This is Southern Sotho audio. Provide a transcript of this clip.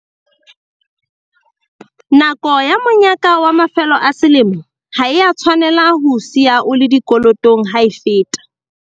Nako ya monyaka wa mafelo a selemo ha e a tshwanela ho o siya o le dikolotong ha e feta.